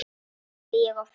hugsaði ég oft.